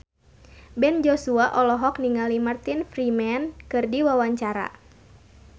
Ben Joshua olohok ningali Martin Freeman keur diwawancara